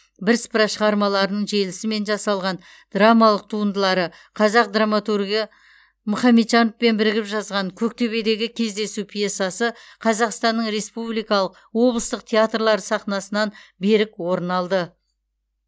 бірсыпыра шығармаларының желісімен жасалған драмалық туындылары қазақ драматургы мұхамеджановпен бірігіп жазған көктөбедегі кездесу пьесасы қазақстанның республикалық облыстық театрлар сахнасынан берік орын алды